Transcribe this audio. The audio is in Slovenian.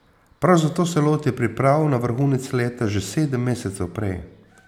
Prav zato se loti priprav na vrhunec leta že sedem mesecev prej.